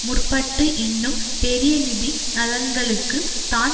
முற்பட்டு இன்னும் பெரிய நிதி நலன்களுக்கு தான்